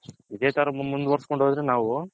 ಇದೆ ತರ ಮುಂದ್ವರಸ್ಕೊಂಡ್ ಹೋದರೆ ನಾವು.